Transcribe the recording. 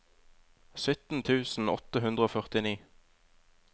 sytten tusen åtte hundre og førtini